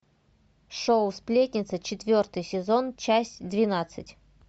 шоу сплетница четвертый сезон часть двенадцать